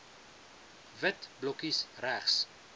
wit blokkies regs